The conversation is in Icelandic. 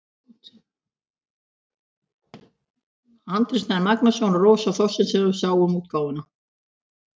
Andri Snær Magnason og Rósa Þorsteinsdóttir sáu um útgáfuna.